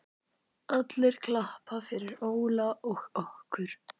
allir klappa fyrir Óla og okkur.